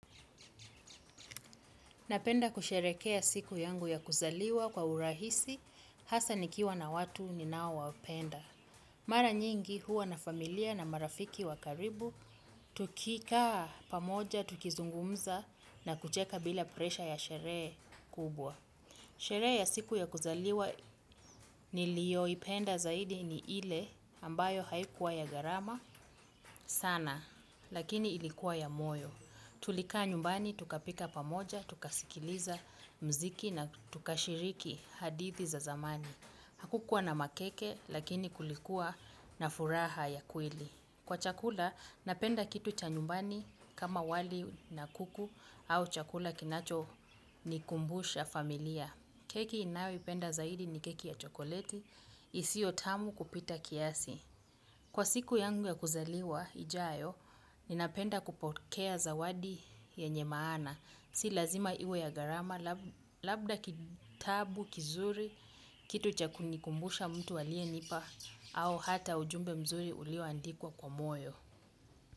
Napenda kusherekea siku yangu ya kuzaliwa kwa urahisi, hasa nikiwa na watu ninao wapenda. Mara nyingi huwa na familia na marafiki wa karibu, tukikaa pamoja, tukizungumza na kucheka bila presha ya sherehe kubwa. Sherehe ya siku ya kuzaliwa niliyo ipenda zaidi ni ile ambayo haikuwa ya gharama sana, lakini ilikuwa ya moyo. Tulikaa nyumbani, tukapika pamoja, tukasikiliza mziki na tukashiriki hadithi za zamani. Hakukua na makeke, lakini kulikuwa na furaha ya kweli. Kwa chakula, napenda kitu cha nyumbani kama wali na kuku au chakula kinacho ni kumbusha familia. Keki nayo ipenda zaidi ni keki ya chokoleti, isiyo tamu kupita kiasi. Kwa siku yangu ya kuzaliwa, ijayo, ninapenda kupokea zawadi yenye maana. Si lazima iwe ya gharama, labda kitabu, kizuri, kitu cha kunikumbusha mtu aliyenipa, au hata ujumbe mzuri ulioandikwa kwa moyo.